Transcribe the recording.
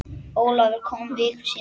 Ólafur kom viku síðar.